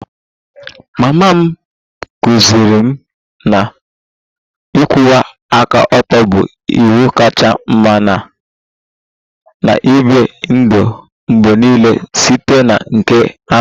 Mama m kụziiri m na ịkwụwa aka ọtọ bụ iwu kachasị mma na m na-ebi ndụ mgbe niile site na nke ahụ